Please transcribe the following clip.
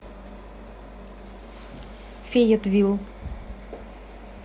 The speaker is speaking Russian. фейетвилл